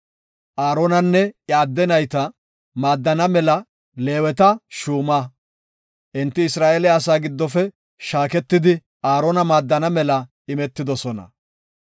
Aaronanne iya adde nayta maadana mela Leeweta shuuma. Enti Isra7eele asaa giddofe shaaketidi Aarona maaddana mela imetidosona.